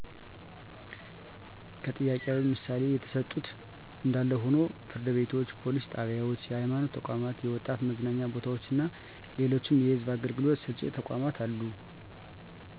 ከጥያቄው ምሣሌ የተሠጡት እንዳለ ሆኖ ፍርድ ቤቶች፣ ፓሊስ ጣቢያዎች፣ የሐይማኖት ተቋማቶች፣ የወጣት መዝናኛ ቦታዎችና ሌሎችም የሕዝብ አገልግሎት ሰጭ ተቋማት አሉ።